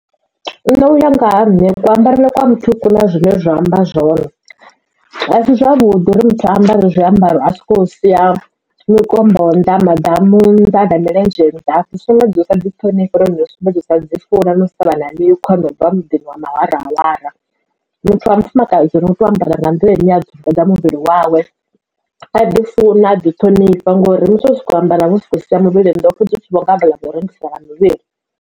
ṋe uya nga ha nne ku ambarele kwa muthu ku na zwine zwa amba zwone a si zwavhuḓi uri muthu amba ri zwiambaro a so kou sia mikombo nnḓa, maḓamu nnḓa na milenzhe nnḓa zwi sumbedza u sa ḓi ṱhonifha uri na u sumbedza usa ḓi funa na u sa vha na mikhwa no bva muḓini wa mahwarahwara muthu wa mufumakadzi u tea u ambara nga nḓila ine ya ḓi dzumba muvhili wawe a ḓi funa adzi ṱhonifha ngori musi wo soko ambara wo sia muvhili nnḓa u vho nga vha ḽa vha u rengisa na muvhili.